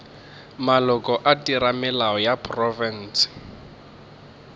maloko a theramelao ya profense